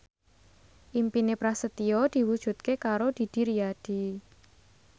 impine Prasetyo diwujudke karo Didi Riyadi